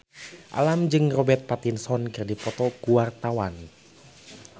Alam jeung Robert Pattinson keur dipoto ku wartawan